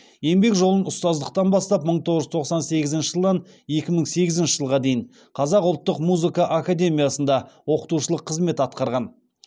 еңбек жолын ұстаздықтан бастап мың тоғыз жүз тоқсан сегізінші жылдан екі мың сегізінші жылға дейін қазақ ұлттық музыка академиясында оқытушылық қызмет атқарған